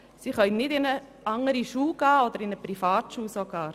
Sie können nicht in eine andere Schule oder sogar in eine Privatschule gehen.